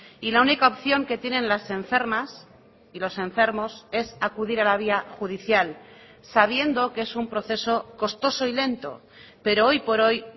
y la única opción que tienen las enfermas y los enfermos es acudir a la vía judicial sabiendo que es un proceso costoso y lento pero hoy por hoy